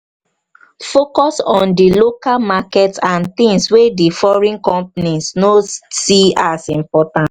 focus on di local market and things wey di foreign companies no see as important